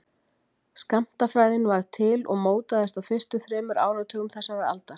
Skammtafræðin varð til og mótaðist á fyrstu þremur áratugum þessarar aldar.